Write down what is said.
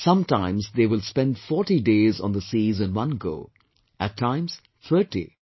Sometimes they will spend 40 days on the seas in one go; at times, thirty